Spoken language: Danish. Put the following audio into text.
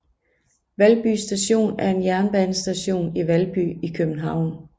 Valby Station er en jernbanestation i Valby i København